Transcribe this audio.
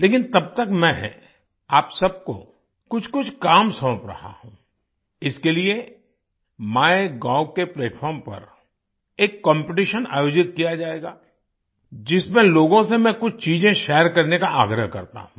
लेकिन तब तक मैं आप सबको कुछकुछ काम सौंप रहा हूँ इसके लिए MyGovके प्लैटफार्म पर एक कॉम्पिटिशन आयोजित किया जाएगा जिसमें लोगों से मैं कुछ चीजें शेयर करने का आग्रह करता हूँ